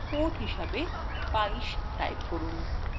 port হিসাবে ২২ type করুন